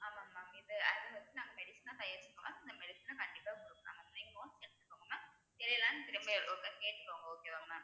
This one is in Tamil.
ஆமாம் mam இது அதை வச்சு நாங்க medicine ஆ தயாரிச்சிக்கோம் இந்த medicine அ கண்டிப்பா குடுக்கலாம் mam நீங்களும் எடுத்துக்கோங்க தெரியலைன்னு திரும்பி ஒரு time கேட்டுக்கோங்க okay வா mam